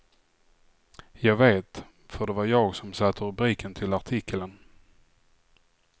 Jag vet, för det var jag som satte rubriken till artikeln.